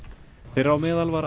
þeirra á meðal var